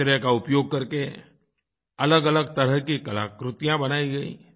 कचरे का उपयोग करके अलगअलग तरह की कलाकृतियाँ बनाई गईं